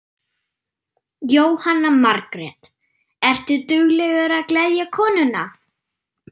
Jóhanna Margrét: Ertu duglegur að gleðja konuna?